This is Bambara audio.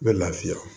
U bɛ lafiya